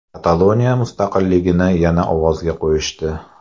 Kataloniya mustaqilligini yana ovozga qo‘yishdi.